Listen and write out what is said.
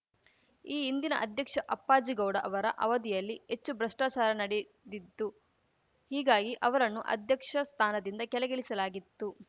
ಈ ಹಿಂದಿನ ಅಧ್ಯಕ್ಷ ಅಪ್ಪಾಜಿಗೌಡ ಅವರ ಅವಧಿಯಲ್ಲಿ ಹೆಚ್ಚು ಭ್ರಷ್ಟಾಚಾರ ನಡೆದಿತ್ತು ಹೀಗಾಗಿ ಅವರನ್ನು ಅಧ್ಯಕ್ಷ ಸ್ಥಾನದಿಂದ ಕೆಳಗಿಳಿಸಲಾಗಿತ್ತು